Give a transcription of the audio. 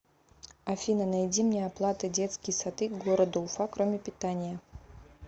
афина найди мне оплата детские сады города уфа кроме питания